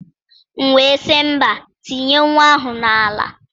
M wee sị mba, tinye nwa ahụ n'ala.